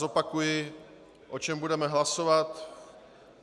Zopakuji, o čem budeme hlasovat.